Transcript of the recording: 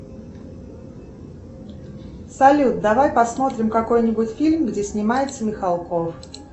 салют давай посмотрим какой нибудь фильм где снимается михалков